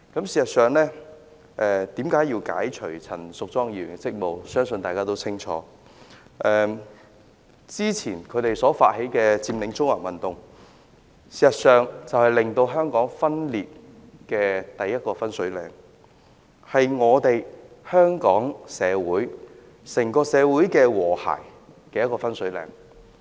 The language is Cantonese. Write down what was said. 事實上，為何要解除陳淑莊議員的職務，相信大家也清楚，之前他們發起佔領中環的運動，便是令香港分裂的第一個分水嶺，是毀壞香港整個社會和諧的分水嶺。